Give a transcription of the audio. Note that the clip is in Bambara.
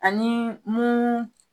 Ani mun